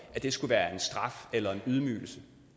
skulle være en straf eller en ydmygelse